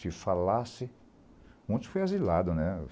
Se falasse... Muitos foram asilados, né?